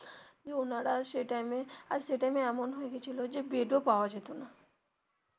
ওনারা সেই time এ আর সেই time এ এমন হয়ে গেছিল যে বেড ও পাওয়া যেত না